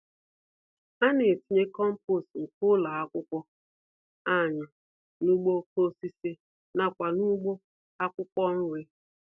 Ana-etinye kompost nke ụlọ akwụkwọ anyị n'ugbo okoko-osisi nakwa n'ugbo akwụkwọ nri.